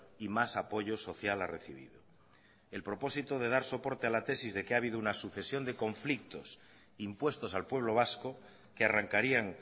y más apoyo social ha recibido el propósito de dar soporte a la tesis de que ha habido una sucesión de conflictos impuestos al pueblo vasco que arrancarían